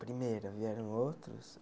Primeira, vieram outros?